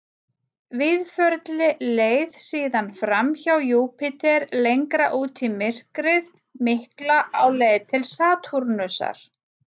Víðförli leið síðan fram hjá Júpíter lengra út í myrkrið mikla á leið til Satúrnusar.